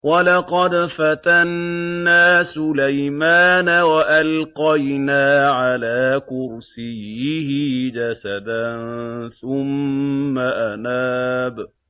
وَلَقَدْ فَتَنَّا سُلَيْمَانَ وَأَلْقَيْنَا عَلَىٰ كُرْسِيِّهِ جَسَدًا ثُمَّ أَنَابَ